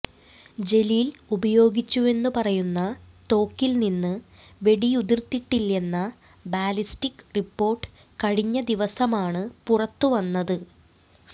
ജലീൽ ഉപയോഗിച്ചുവെന്നു പറയുന്ന തോക്കിൽനിന്ന് വെടിയുതിർന്നിട്ടില്ലെന്ന ബാലിസ്റ്റിക് റിപ്പോർട്ട് കഴിഞ്ഞദിവസമാണ് പുറത്തുവന്നത്